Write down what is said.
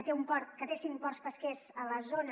que té cinc ports pesquers a la zona